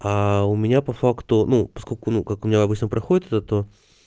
а у меня по факту ну поскольку ну как обычно проходит это